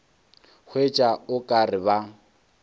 hwetša o ka re ba